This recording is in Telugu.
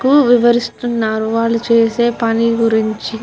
కు వివివరిస్తునారు వాళ్ళు చేసే పని గురుంచి.